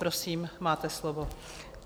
Prosím, máte slovo.